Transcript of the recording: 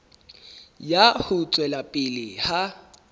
ya ho tswela pele ha